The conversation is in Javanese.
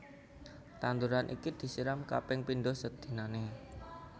Tanduran iki disiram kaping pindho sedinané